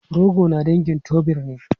Rogo na dangin tuber ne.